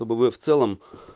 что бы вы в целом